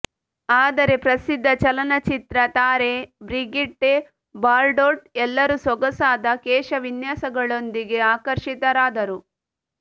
ಆದರೆ ಪ್ರಸಿದ್ಧ ಚಲನಚಿತ್ರ ತಾರೆ ಬ್ರಿಗಿಟ್ಟೆ ಬಾರ್ಡೋಟ್ ಎಲ್ಲರೂ ಸೊಗಸಾದ ಕೇಶವಿನ್ಯಾಸಗಳೊಂದಿಗೆ ಆಕರ್ಷಿತರಾದರು